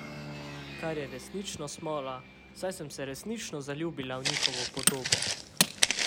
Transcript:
Kar je resnično smola, saj sem se resnično zaljubila v njihovo podobo.